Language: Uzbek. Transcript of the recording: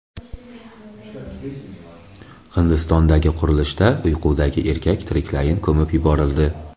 Hindistondagi qurilishda uyqudagi erkak tiriklayin ko‘mib yuborildi.